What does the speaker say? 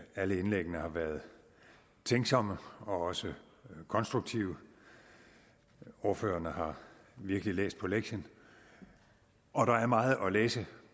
alle indlæggene har været tænksomme og også konstruktive ordførerne har virkelig læst på lektien og der er meget at læse